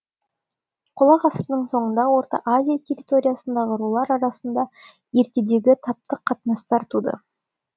қола ғасырының соңында орта азия территориясындағы рулар арасында ертедегі таптық қатынастар туды